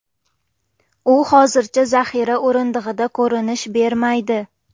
U hozircha zaxira o‘rindig‘ida ko‘rinish bermaydi.